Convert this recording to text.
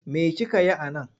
Me kike yi a nan?